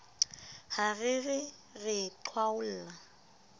ha re re re qhwaolla